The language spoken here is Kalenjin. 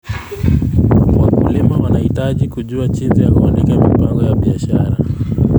Wakulima wanahitaji kujua jinsi ya kuandika mipango ya biashara.